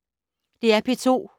DR P2